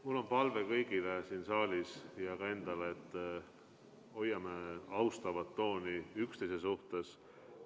Mul on palve kõigile siin saalis ja ka endale, et hoiame austavat tooni üksteise suhtes.